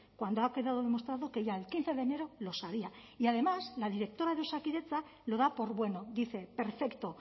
cuando ha quedado demostrado que ya el quince de enero lo sabía y además la directa de osakidetza lo da por bueno dice perfecto